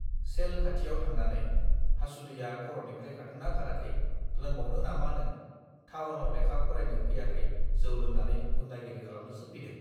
सेल खाथियाव थांनानै हासुदैया खरनिफ्राय खारदोंना खाराखै लोंबावनो नामा नों थावनाव लेखा फरायनो फैयाखै जौ लोंनानै गुन्दागिरि खालामनोसो फैदों